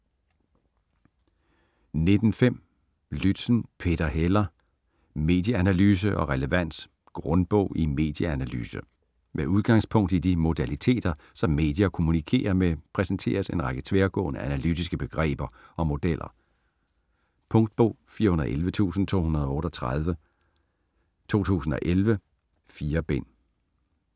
19.5 Lützen, Peter Heller: Medieanalyse og relevans: grundbog i medieanalyse Med udgangspunkt i de modaliteter som medier kommunikerer med præsenteres en række tværgående analytiske begreber og modeller. Punktbog 411238 2011. 4 bind.